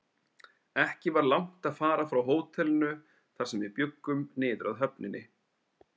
Ekki var langt að fara frá hótelinu, þar sem við bjuggum, niður að höfninni.